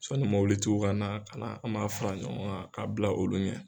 Sɔn ni mabili tigiw ka na, ka na an b'a fara ɲɔgɔn kan k'a bila olu ɲɛ.